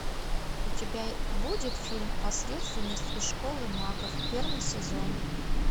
у тебя будет фильм посредственность из школы магов первый сезон